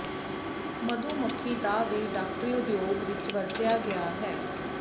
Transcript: ਮਧੂ ਮੱਖੀ ਦਾ ਵੀ ਡਾਕਟਰੀ ਉਦਯੋਗ ਵਿਚ ਵਰਤਿਆ ਗਿਆ ਹੈ